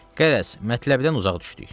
Qərəz, mətləbdən uzaq düşdük.